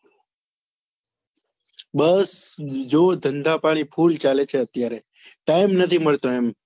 બસ જો ધંધા પાણી full ચાલે છે અત્યારે ત time નથી મળતો એમ